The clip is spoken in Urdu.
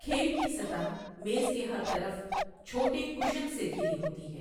کھیل کی سطح میز کے ہر طرف چھوٹے کشن سے گھری ہوتی ہے۔